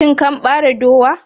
Shin kan bare dowa?